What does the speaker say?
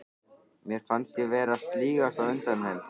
Mér fannst ég vera að sligast undan þeim.